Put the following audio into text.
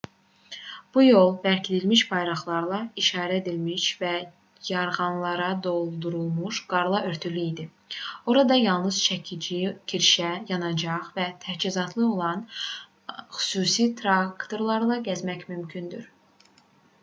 bu yol bərkidilmiş bayraqlarla işarələnmiş və yarğanlara doldurulmuş qarla örtülü idi orada yalnız çəkici kirşə yanacaq və təchizatları olan xüsusi traktorlarla gəzmək mümkündür